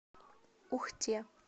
ухте